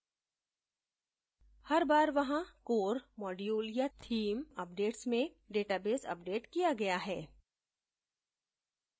हर बार वहाँ core module या theme अपडेट्स में database अपडेट किया गया है